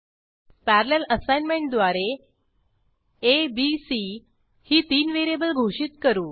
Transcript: parallel असाइनमेंटद्वारे आ b c ही तीन व्हेरिएबल घोषित करू